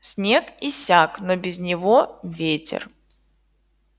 снег иссяк но без него ветер